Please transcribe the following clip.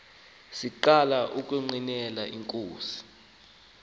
siqala ukungqinela inkosi